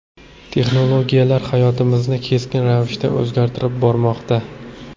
Texnologiyalar hayotimizni keskin ravishda o‘zgartirib bormoqda.